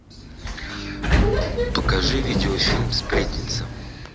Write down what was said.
покажи видеофильм сплетница